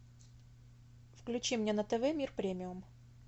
включи мне на тв мир премиум